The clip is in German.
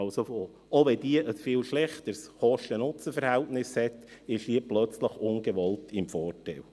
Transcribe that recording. Auch wenn diese ein viel schlechteres Kosten-Nutzen-Verhältnis hat, ist sie plötzlich ungewollt im Vorteil.